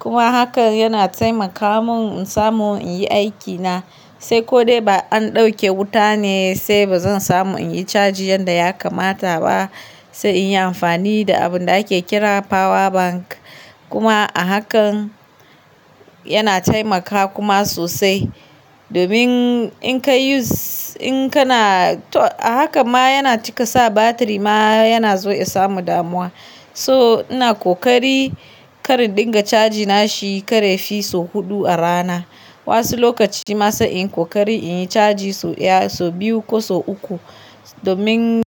Kuma hakan yana taimaka mun in samu in yi aikina. Sai ko dai ba an ɗauke wuta ne sai ba zan samu inyi cajin yanda ya kamata ba. Sai in yi amfani da abun da ake kira power bank. Kuma a hakan yana taimakawa kuma sosai. Domin in kai use, in kana to a haka ma yana cika sa batiri ma yana so ya samu damuwa. So ina kokari kar in dinga caji nashi kar yafi so huɗu a rana. Wasu lokaci ma sai in kokari in yi caji so ɗaya, so biyu ko so uku. Domin-